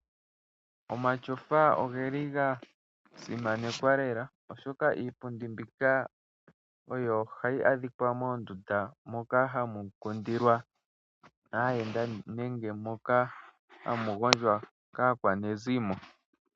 Omatyofa oga simanekwa oshoka iipundi mbika oyo hayi adhika moondunda moka hamu kundilwa aayenda nenge moka hamu gondjwa kaanegumbo.